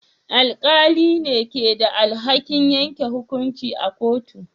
Alƙalai ne ke da alhakin yanke hukunci a kotu.